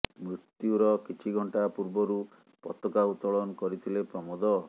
ମୃତ୍ୟୁର କିଛି ଘଂଟା ପୂର୍ବରୁ ପତାକା ଉତୋଳନ କରିଥିଲେ ପ୍ରମୋଦ